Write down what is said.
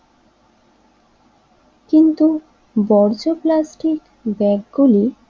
কিন্তু বর্জ্য প্লাস্টিক ব্যাগগুলি